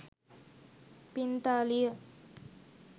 පිංතාලිය